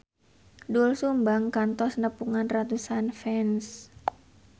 Doel Sumbang kantos nepungan ratusan fans